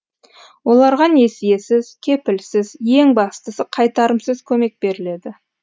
оларға несиесіз кепілсіз ең бастысы қайтарымсыз көмек беріледі